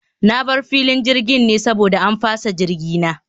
Na bar filin jirgin ne saboda an fasa jirgi na